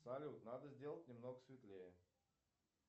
салют надо сделать немного светлее